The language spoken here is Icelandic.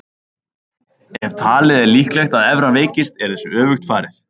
Ef talið er líklegt að evran veikist er þessu öfugt farið.